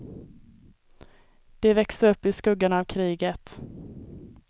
De växer upp i skuggan av kriget.